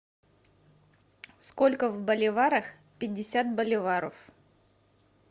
сколько в боливарах пятьдесят боливаров